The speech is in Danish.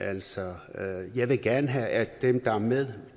altså jeg vil gerne have at dem der er med